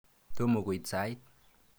Tomo koit sait.